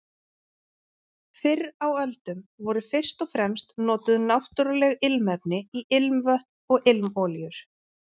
Fyrr á öldum voru fyrst og fremst notuð náttúruleg ilmefni í ilmvötn og ilmolíur.